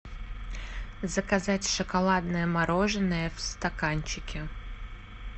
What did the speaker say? заказать шоколадное мороженое в стаканчике